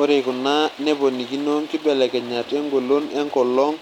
Ore kuna neponikino nkibelekenyat engolon enkolong